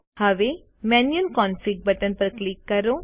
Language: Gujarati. હવે મેન્યુઅલ કોન્ફિગ બટન પર ક્લિક કરો